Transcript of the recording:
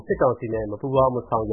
စစ်ကောင်စီနဲ့မပူးပေါင်း၊ မဆောင်ရ